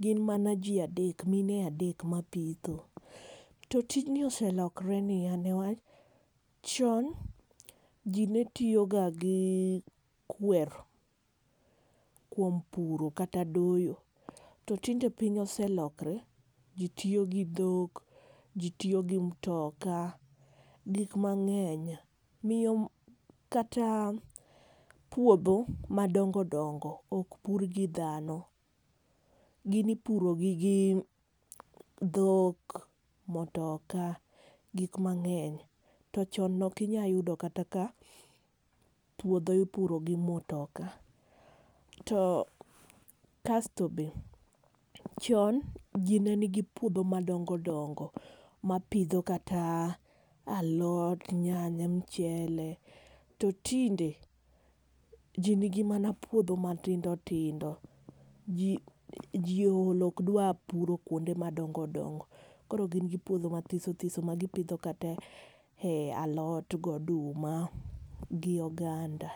Gin mana ji adek, mine adek mapitho. To tijni oselokore niya, newach, chon ji netiyo ga gi kwer, kuom puro kata doyo. To tinde piny oselokore. Ji tiyo gi dhok, ji tiyo gi mtoka, gik mang'eny. Miyo kata puodho madongo dongo ok pur gi dhano. Gin ipuro gi gi dhok, mtoka, gik mang. eny. To chon ne ok inyal yudo kata ka puodho ipuro gi mtoka. To kasto be, chon ji ne nigi puodho madongo dongo, mapidho kata alot, nyanya, mchele. To tinde, ji nigi mana puodho matindo tindo. Ji, ji ool okdwar puro kuonde madongo dongo. Koro gin gi puodho mathiso thiso ma gipidho kata e alot gi oduma, gi oganda.